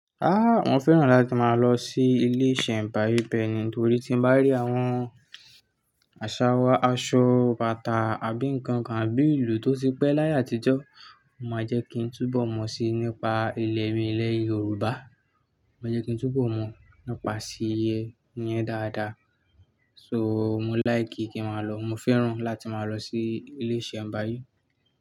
Ah! Mo fẹ́ràn láti máa lọ sí ilé ìṣẹ̀mbáyé beẹ́ni torí tí n bá rí àwọn àsàwa, aṣọ, bàtà àbí nǹkan kan, bíi ìlú tó ti pẹ́ láyé àtijọ́, ó máa jẹ́ kí n túbọ̀ mọ̀ síi nípa ìlẹ̀ mi, ilẹ̀ Yorùbá. Ó máa jẹ́ kí n túbọ̀ mọ̀ nípa ìse yẹn dáadáa. So mo like kí n máa lọ. Mo fẹ́ràn láti máa lọ sí ilé ìṣẹ̀mbáyé.